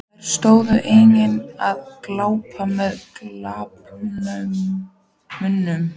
Þær stóðu einnig og gláptu með galopna munna.